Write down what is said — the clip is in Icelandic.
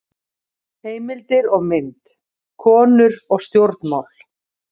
Heimildir og mynd: Konur og stjórnmál.